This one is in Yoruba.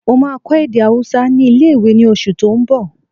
Mo máa kọ́ èdè ahúsá ní ilé-ìwé ní oṣù tó n bọ̀